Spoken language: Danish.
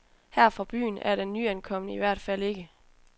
Her fra byen er den nyankomne i hvert fald ikke.